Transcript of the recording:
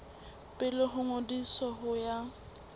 pele ho ngodiso ho ya